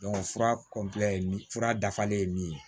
fura kɔnpilɛ ni fura dafalen min ye